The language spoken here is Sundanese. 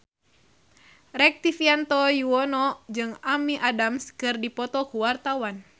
Rektivianto Yoewono jeung Amy Adams keur dipoto ku wartawan